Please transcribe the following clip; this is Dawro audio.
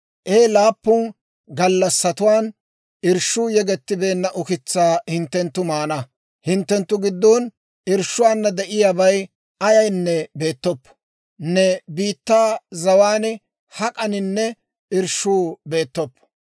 He laappun gallassatuwaan irshshuu yegettibeenna ukitsaa hinttenttu maana; hinttenttu giddon irshshuwaana de'iyaabay ayaynne beettoppo; ne biittaa zawaan hak'aninne irshshuu beettoppo.